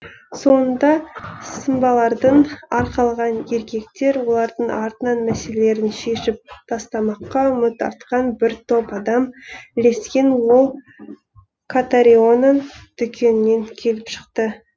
соңында сымбалдарын арқалаған еркектер олардың артынан мәселелерін шешіп тастамаққа үміт артқан бір топ адам ілескен ол катариноның дүкенінен келіп шықты